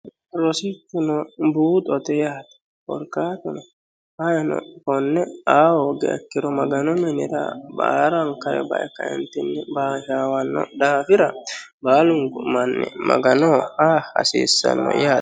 rosichuno buuxote yaati korkaatuno hino konne aawo gaekkiro magano minira baarankare bae kaintinni bashawanno daafira baalungu manni magano aa hasiissanno yaate